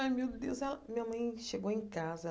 Aí, meu Deus ela, minha mãe chegou em casa.